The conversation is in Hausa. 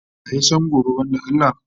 Wa ya san gobe banda Allah?